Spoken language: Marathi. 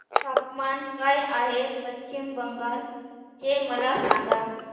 तापमान काय आहे पश्चिम बंगाल चे मला सांगा